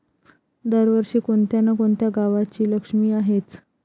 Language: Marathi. दरवर्षी कोणत्या ना कोणत्या गावाची लक्ष्मी आहेच.